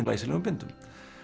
glæsilegum bindum